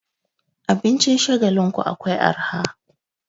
Abincin Shagalinku akwai arha.